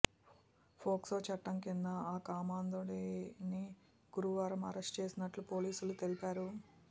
POCSO చట్టం కింద ఆ కామాంధుడిని గురువారం అరెస్టు చేసినట్లు పోలీసులు తెలిపారు